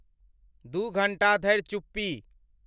दू घंटा धरि चुप्पी।